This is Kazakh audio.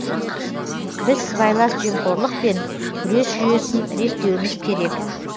біз сыбайлас жемқорлықпен күрес жүйесін реттеуіміз керек